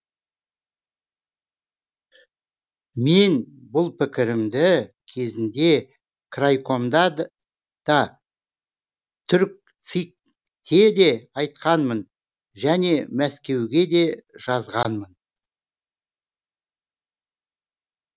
мен бұл пікірімді кезінде крайкомда да түркцик те де айтқанмын және мәскеуге де жазғанмын